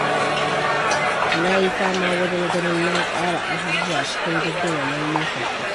Na yi fama wajen ganin na tsara abubuwa cikin jadawalin lokaci.